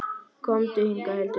Komdu hingað, Hildur mín!